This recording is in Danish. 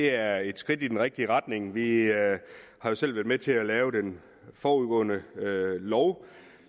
er et skridt i den rigtige retning vi har jo selv været med til at lave den forudgående lov